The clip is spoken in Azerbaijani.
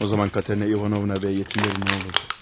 O zaman Katerina Ivanovna və yetimlərinə nə olardı?